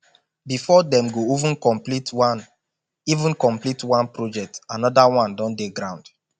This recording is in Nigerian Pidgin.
before dem go even komplete one even komplete one project anoda one don dey ground